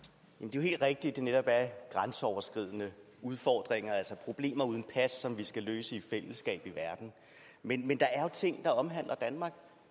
jo helt rigtigt at det netop er grænseoverskridende udfordringer altså problemer uden pas som vi skal løse i fællesskab i verden men der er jo ting der omhandler danmark